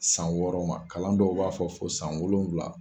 San wɔɔrɔ ma kalan dɔw b'a fɔ fo san wolonwula.